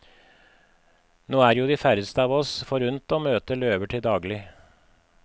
Nå er jo de færreste av oss forunt å møte løver til daglig.